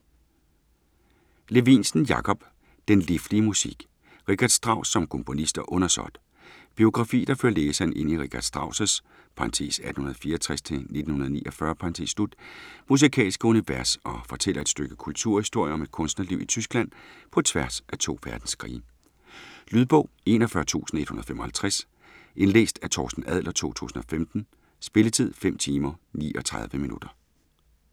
Levinsen, Jakob: Den liflige musik: Richard Strauss som komponist og undersåt Biografi der fører læseren ind i Richard Strauss' (1864-1949) musikalske univers og fortæller et stykke kulturhistorie om et kunstnerliv i Tyskland på tværs af to verdenskrige. Lydbog 41155 Indlæst af Torsten Adler, 2015. Spilletid: 5 timer, 39 minutter.